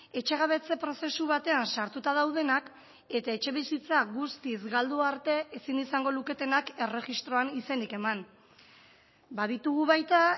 etxegabetze prozesu batean sartuta daudenak eta etxebizitza guztiz galdu arte ezin izango luketenak erregistroan izenik eman baditugu baita